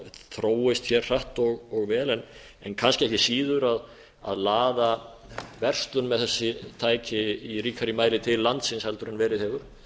þróist hér hratt og vel en kannski ekki síður að laða verslun með þessi tæki í ríkari mæli til landsins heldur en verið hefur